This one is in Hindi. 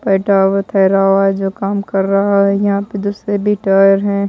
बैठा हुआ ठहरा हुआ है जो काम कर रहा है यहां पे दूसरे भी टायर है।